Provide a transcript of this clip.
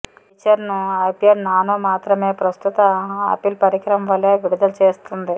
ఈ ఫీచర్ను iPad nano మాత్రమే ప్రస్తుత ఆపిల్ పరికరం వలె విడుదల చేస్తుంది